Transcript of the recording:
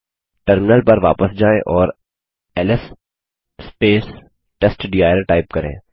terminal पर वापस जायें और एलएस टेस्टडिर टाइप करें